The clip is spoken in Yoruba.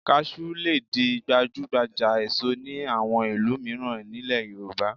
Kaṣú lè di gbajúgbajà èso ní àwọn ìlú mìíràn nílẹ̀ Yorùbá